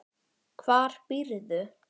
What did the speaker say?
Hvar býrðu?